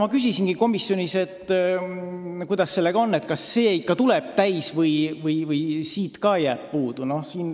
Ma küsisingi komisjonis, kuidas sellega on, kas see ikka tuleb täis või sellestki jääb puudu.